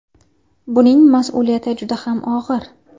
Buning mas’uliyati juda ham og‘ir.